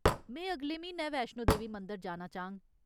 में अगले म्हीनै वैश्णो देवी मंदर जाना चाह्ङ।